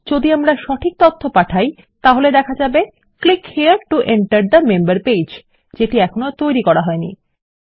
যদি আমরা সঠিক তথ্য পাঠায় তাহলে দেখা যাবে click here to enter the member page যেটি এখনো তৈরী হইনি